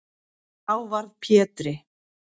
Þá varð Pétri